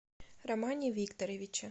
романе викторовиче